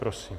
Prosím.